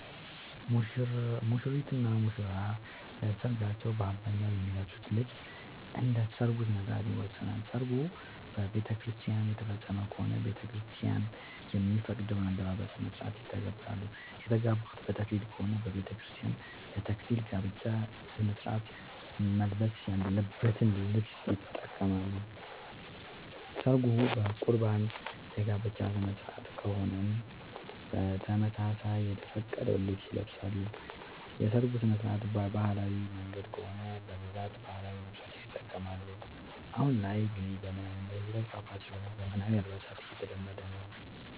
ሙሽሪት እና ሙሽራ ለሰርካቸው በአብዛኛው የሚለብሱት ልብስ እንደ ሠርጉ ስነስርዓት ይወሰናል። ሰርጉ በቤተክርስቲያን የተፈፀመ ከሆነ ቤተክርስቲያን የሚፈቅደውን የአለባበስ ስነስርዓት ይተገብራሉ። የተጋቡት በተክሊል ከሆነ በቤተክርስቲያን ለ ተክሊል የጋብቻ ስነስርዓት መልበስ ያለበትን ልብስ ይጠቀማሉ። ሰርጉ በቁርባን የጋብቻ ስነስርዓት ከሆነም በተመሳሳይ የተፈቀደውን ልብስ ይለብሳሉ። የሰርጉ ስነስርዓት በባህላዊ መንገድ ከሆነ በብዛት ባህላዊ ልብሶችን ይጠቀማሉ። አሁን ላይ ግን ዘመናዊነት እየተስፋፋ ስለሆነ ዘመናዊ አልባሳት እየተለመደ ነው።